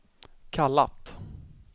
kallat